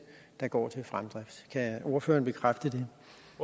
der går til fremdrift kan ordføreren bekræfte